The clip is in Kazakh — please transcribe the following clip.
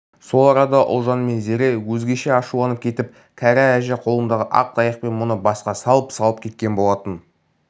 сол арада ұлжан мен зере өзгеше ашуланып кетіп кәрі әже қолындағы ақ таяқпен мұны басқа салып-салып кеткен болатын